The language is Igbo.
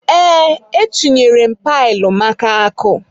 Ee, e chunyere m pailu maka akụ.